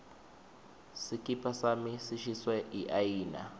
sikipa sami sishiswe yiayina